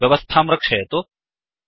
व्यवस्थां रक्षयतु